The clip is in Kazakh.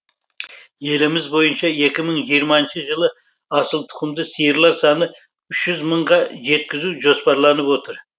еліміз бойынша екі мың жиырмасыншы жылы асылтұқымды сиырлар санын үш жүз мыңға жеткізу жоспарланып отыр